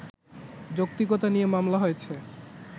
যৌক্তিকতা নিয়ে মামলা হয়েছে